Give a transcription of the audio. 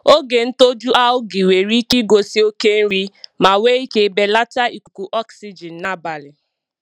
Oge ntoju algae nwere ike igosi oke nri ma nwee ike belata ikuku oxygen n'abalị.